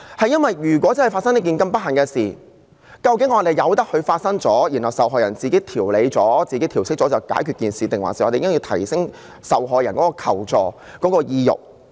因為如果真的發生這樣不幸的事，究竟我們由得它發生，然後受害人自行調理和調適後便了結，還是我們應該提升受害人的求助意欲？